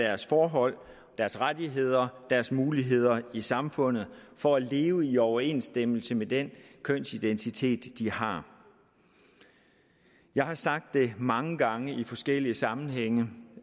deres forhold deres rettigheder deres muligheder i samfundet for at leve i overensstemmelse med den kønsidentitet de har jeg har sagt det mange gange i forskellige sammenhænge